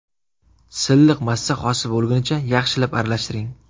Silliq massa hosil bo‘lgunicha yaxshilab aralashtiring.